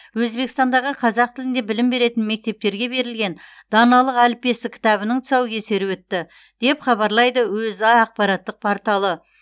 өзбекстандағы қазақ тілінде білім беретін мектептерге берілген даналық әліппесі кітабының тұсаукесері өтті деп хабарлайды өза ақпараттық порталы